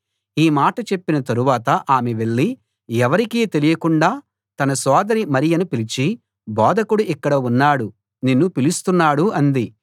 ఈ మాట చెప్పిన తరువాత ఆమె వెళ్ళి ఎవరికీ తెలియకుండా తన సోదరి మరియను పిలిచి బోధకుడు ఇక్కడ ఉన్నాడు నిన్ను పిలుస్తున్నాడు అంది